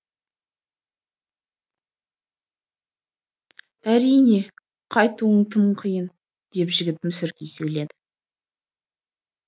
әрине қайтуың тым қиын деп жігіт мүсіркей сөйледі